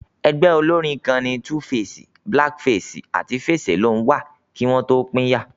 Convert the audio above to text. Ẹgbẹ́ olórín kan ni 2face, Black Face àti Face Alone wà kí wọn tó pínyà